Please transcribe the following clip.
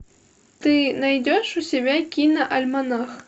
ты найдешь у себя кино альманах